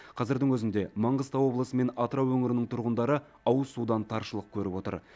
қазірдің өзінде маңғыстау облысы мен атырау өңірінің тұрғындары ауызсудан таршылық көріп отыр